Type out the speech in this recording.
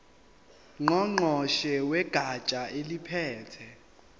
ngqongqoshe wegatsha eliphethe